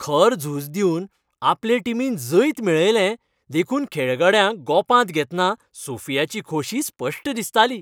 खर झूज दिवन आपले टिमीन जैत मेळयलें देखून खेळगड्यांक गोपांत घेतना सोफियाची खोशी स्पश्ट दिसताली.